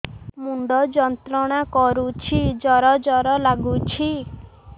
ମୁଣ୍ଡ ଯନ୍ତ୍ରଣା କରୁଛି ଜର ଜର ଲାଗୁଛି